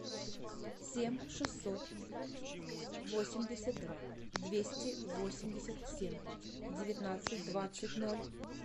семь шестьсот восемьдесят два двести восемьдесят семь девятнадцать двадцать ноль